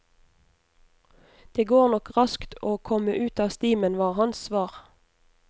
Det går nok raskt å komme ut av stimen, var hans svar.